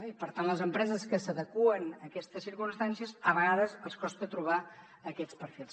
i per tant a les empreses que s’adeqüen a aquestes circumstàncies a vegades els costa trobar aquests perfils